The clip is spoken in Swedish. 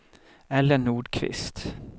Ellen Nordqvist